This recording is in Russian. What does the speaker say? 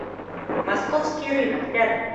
московский рынок рядом